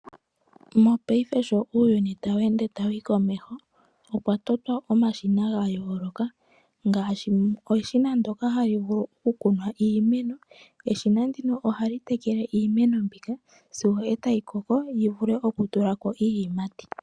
Mongaashingeyi uuyuni sho tawu ende tawu yi komeho okwa totwa omashina ga yooloka ngaashi eshina ndyoka hali vulu okukuna iimeno, eshina ndino ohali tekele iimeno mbika sigo e tayi koko yi vule okutula ko iiyimati.